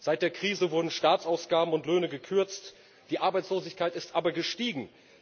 Seit der Krise wurden Staatsausgaben und Löhne gekürzt, die Arbeitslosigkeit ist aber gestiegen.